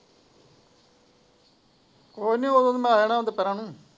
ਉਹਨੀ ਉਹ ਤੇ ਮੈਂ ਆ ਜਾਣ ਹੈ ਦੁਪਿਹਰਾ ਨੂੰ।